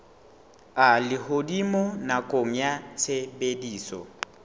a lehodimo nakong ya tshebediso